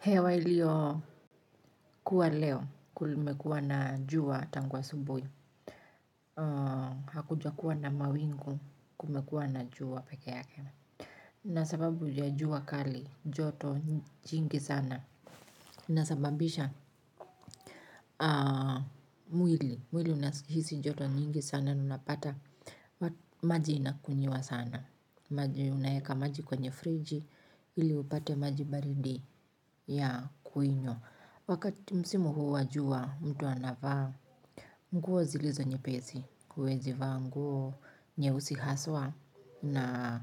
Hewa ilio kuwa leo kulimekuwa na jua tangu asubuhi. Hakujakuwa na mawingu kumekuwa na jua peke yake. Na sababu ya jua kali joto jingi sana. Na sababisha mwili. Mwili unahisi joto nyingi sana. Unapata maji inakunyiwa sana. Maji unaeka maji kwenye friji. Ili upate maji baridi ya kuinywa wakati msimu huu wa jua mtu anavaa nguo zilizo nyepesi huwezi vangu nyeusi haswa na